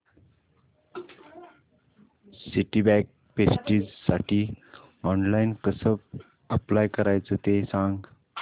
Citibank प्रेस्टिजसाठी online कसं apply करायचं ते सांग